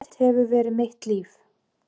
Ballett hefur verið mitt líf